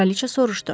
Kraliça soruşdu.